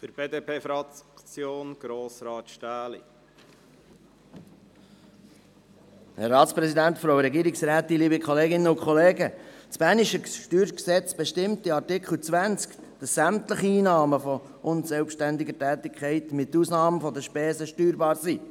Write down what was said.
Das bernische StG bestimmt in Artikel 20, dass sämtliche Einnahmen aus unselbstständiger Tätigkeit mit Ausnahme der Spesen steuerbar sind.